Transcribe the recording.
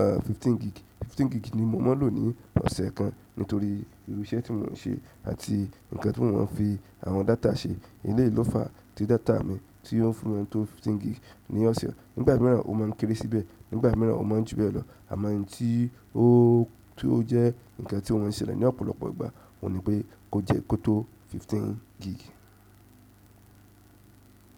eeh, fifteen gig. Fifteen gig ni mo máa ń lò ní ọ̀sẹ̀ kan nítorí irú iṣẹ́ tí mò ń ṣe àti ǹkan tí mò ń fi àwọn data ṣe. Ilé ìlọ́fa ti data mi tí ó fún mi tó fifteen gig ní ọ̀sẹ̀, nígbà míràn ó máa ń kéré síbẹ̀, nígbà míràn ó máa ń ju bẹ́ẹ̀ lọ àmọ́ ohun tí ó, tí ó jẹ́ ǹkan tí ò ń ṣẹlẹ̀ ní ọ̀pọ̀lọpọ̀ ìgbà ò ní pé kó jẹ́ kó tó fifteen gig.